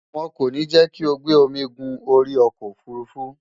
won ko ni je ki o gbe omi gun ori oko ofurufu